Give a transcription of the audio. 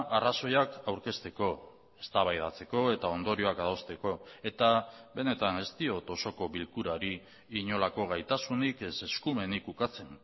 arrazoiak aurkezteko eztabaidatzeko eta ondorioak adosteko eta benetan ez diot osoko bilkurari inolako gaitasunik ez eskumenik ukatzen